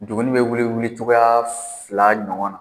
Njugunin bɛ wuli wulicogoya fila ɲɔgɔn na.